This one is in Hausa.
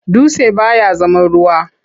Dutse baya zama ruwa.